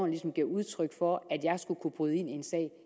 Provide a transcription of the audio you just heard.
ligesom giver udtryk for at jeg skulle kunne bryde ind i en sag